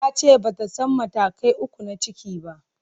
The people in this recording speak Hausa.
Ta ce ba ta san matakai uku na ciki ba.